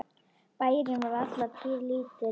Bærinn var alla tíð lítill.